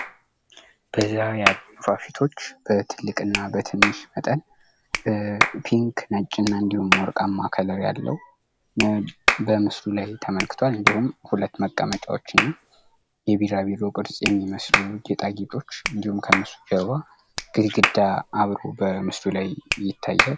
በዛ ያሉ ንፋፊቶች በትልቅ እና በትንሽ መጠን ፒንክ ነጭ እና እንዲሁም ወርቃማ ከለር ያለው በምስሉ ላይ ተመልክቷል። እንዲሁም ሁለት መቀመጫዎች እና የቢራቢሮ ቅርጽ የሚመስሉ ጌጣጌጦች እንዲሁም ከነሱ ጀርባ ግድግዳ አብሮ በምስሉ ላይ ይታያል።